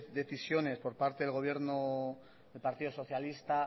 de decisiones por parte del gobierno del partido socialista